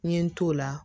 N ye n t'o la